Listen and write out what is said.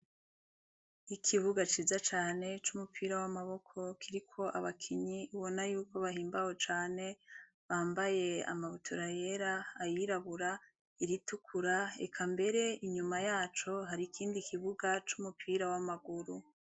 Ikibuga ciza cane c' umupira w' amaboko kiriko abakinyi ubona yuko bahimbawe cane bambaye amabutura yera, ayirabura, iritukura eka mbere inyuma yaco hari ikindi kibuga c' umupira w' amaguru.